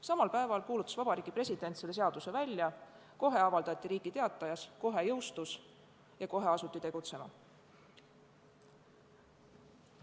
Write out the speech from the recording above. Samal päeval kuulutas Vabariigi President selle seaduse välja, kohe avaldati see Riigi Teatajas, kohe jõustus ja kohe asuti tegutsema.